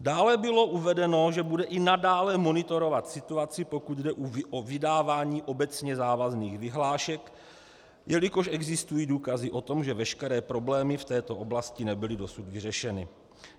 Dále bylo uvedeno, že bude i nadále monitorovat situaci, pokud jde o vydávání obecně závazných vyhlášek, jelikož existují důkazy o tom, že veškeré problémy v této oblasti nebyly dosud vyřešeny.